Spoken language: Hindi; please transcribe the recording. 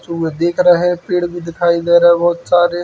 देख रहा हैं। पेड़ भी दिखाई दे रहे हैं बहोत सारे।